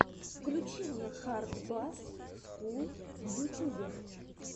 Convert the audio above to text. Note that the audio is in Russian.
включи мне хард басс скул в ютюбе